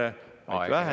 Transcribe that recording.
Aeg, hea kolleeg!